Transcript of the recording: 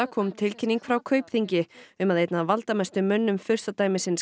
kom tilkynning frá Kaupþingi um að einn af valdamestu mönnum